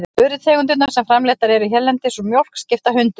Vörutegundir sem framleiddar eru hérlendis úr mjólk skipta hundruðum.